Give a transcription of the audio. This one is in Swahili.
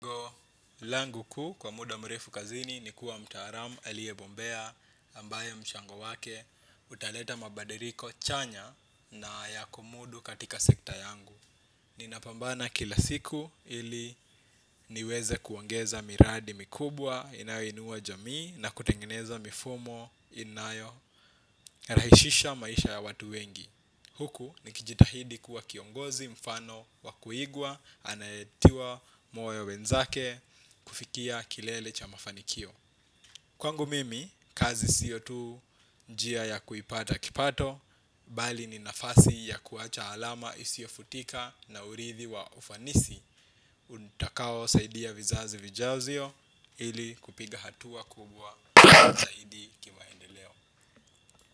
Langu kuu kwa muda mrefu kazini ni kuwa mtaalamu aliyebombea ambayo mchango wake utaleta mabadiliko chanya na ya kumudu katika sekta yangu. Ninapambana kila siku ili niweze kuongeza miradi mikubwa inayoinua jamii na kutengeneza mifumo inayo rahishisha maisha ya watu wengi. Huku nikijitahidi kuwa kiongozi mfano wa kuigwa anayetiwa moyo wenzake kufikia kilele cha mafanikio. Kwangu mimi, kazi sio tu njia ya kuipata kipato, bali ni nafasi ya kuacha alama isiyofutika na urithi wa ufanisi. Utakao saidia vizazi vijazio ili kupiga hatua kubwa zaidi kimaendeleo.